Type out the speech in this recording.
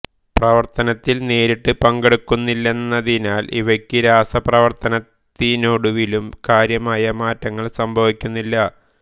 പ്രവർത്തനത്തിൽ നേരിട്ട് പങ്കെടുക്കുന്നില്ലെന്നതിനാൽ ഇവയ്ക്ക് രാസപ്രവർത്തനത്തിനൊടുവിലും കാര്യമായ മാറ്റങ്ങൾ സംഭവിക്കുന്നില്ല